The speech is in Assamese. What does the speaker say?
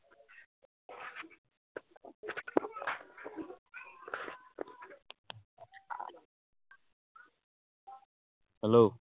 hello